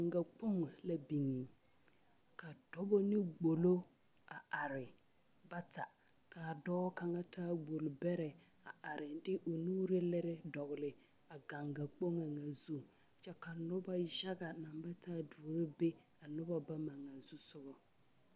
Gangakpoŋ la biŋe ka dɔba ne gbolo a are bata ka a dɔɔ kaŋa taa gbolbɛrɛ a are de o nuuri lere dɔgle a Gangakpoŋ ŋa zu kyɛ ka noba yaga naŋ ba taa duoro be a noba bama ŋa zusoga.